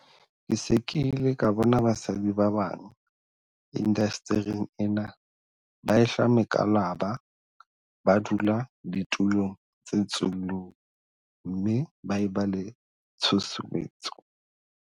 Ke se ke ile ka bona basadi ba bang indastering ena ba ehlwa mekwalaba ba dula ditulong tse tsullung mme ba e ba le tshusumetso.